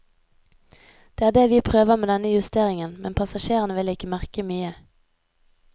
Det er det vi prøver med denne justeringen, men passasjerene vil ikke merke mye.